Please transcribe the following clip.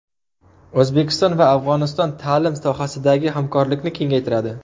O‘zbekiston va Afg‘oniston ta’lim sohasidagi hamkorlikni kengaytiradi.